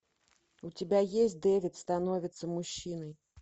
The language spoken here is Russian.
у тебя есть дэвид становится мужчиной